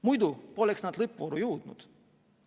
Muidu poleks nad lõppvooru jõudnud.